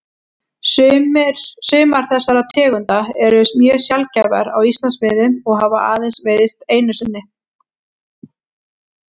Sumar þessara tegunda eru mjög sjaldgæfar á Íslandsmiðum og hafa aðeins veiðst einu sinni.